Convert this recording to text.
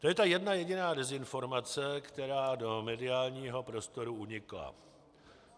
To je ta jedna jediná dezinformace, která do mediálního prostoru unikla.